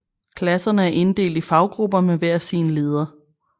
Klasserne er inddelt i faggrupper med hver sin leder